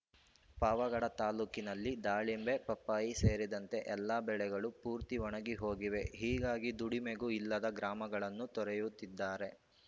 ಪಾವಗಡ ತಾಲೂಕಿನಲ್ಲಿ ದಾಳಿಂಬೆ ಪಪ್ಪಾಯಿ ಸೇರಿದಂತೆ ಎಲ್ಲಾ ಬೆಳೆಗಳು ಪೂರ್ತಿ ಒಣಗಿ ಹೋಗಿವೆ ಹೀಗಾಗಿ ದುಡಿಮೆಗೂ ಇಲ್ಲದೆ ಗ್ರಾಮಗಳನ್ನು ತೊರೆಯುತ್ತಿದ್ದಾರೆ